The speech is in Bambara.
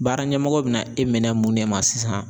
Baara ɲɛmɔgɔ be na e minɛ mun de ma sisan